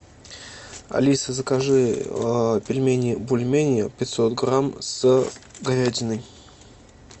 алиса закажи пельмени бульмени пятьсот грамм с говядиной